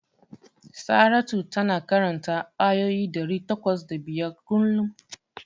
Saratu tana karanta ayoyi ɗari takwas da biyar kullum.